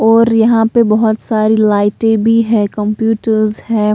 और यहां पे बहोत सारी लाइटें भी है कंप्यूटर्स है।